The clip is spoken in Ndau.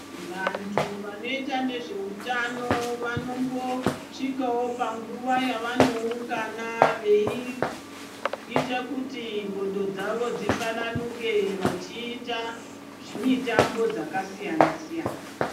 Vantu vanoita ngezveutano vanombosvikawo panguwa yavanoungana veiita kuti ndxondo dzawo dzifaranuke vachiita zvimitambo dzakasiyana siyana.